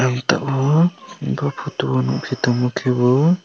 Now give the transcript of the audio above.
ang tabuk bo photo nukfi tongo khe bo.